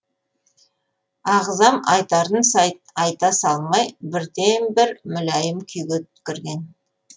ағзам айтарын айта салмай бірден бір мүләйім күйге кірген